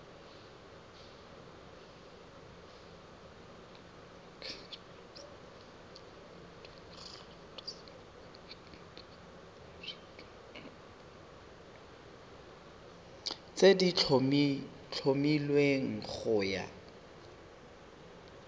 tse di tlhomilweng go ya